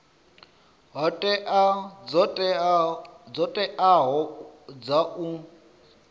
hoea dzo teaho dza u